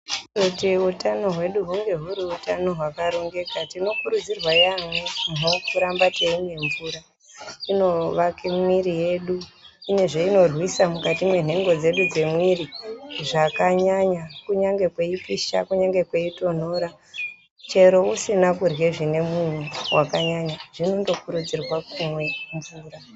Kuti utano hwedu hunge huri hutano hwaka rongeka tino kurudzirwa yaamho kuramba teimwa mvura inovake mwiiri yedu. Ine zveinorwisa mukati mwenhengo dzedu dzemwiiri zvakanyanya. Kunyangwe kweipisha kunyangwe kweitonhora chero usina kurye zvinemunyu zvakanyanya zvinondo kurudzirwa kumwe mvura.